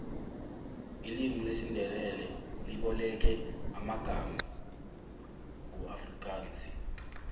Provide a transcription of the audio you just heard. ilimu lesindebele iboleke amangama kuafrikansi